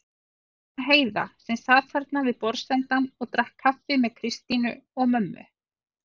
Og líka Heiða sem sat þarna við borðsendann og drakk kaffi með Kristínu og mömmu.